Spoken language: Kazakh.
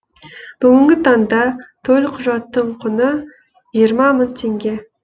бүгінгі таңда төлқұжаттың құны жиырма мың теңге